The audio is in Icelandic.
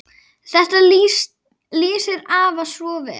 Þetta lýsir afa svo vel.